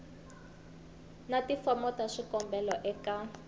na tifomo ta swikombelo eka